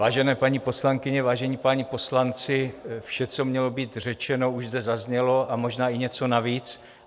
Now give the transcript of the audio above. Vážené paní poslankyně, vážení páni poslanci, vše, co mělo být řečeno, už zde zaznělo, a možná i něco navíc.